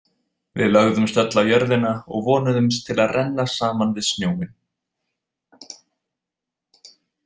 Við lögðumst öll á jörðina og vonuðumst til að renna saman við snjóinn.